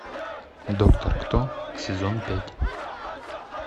доктор кто сезон пять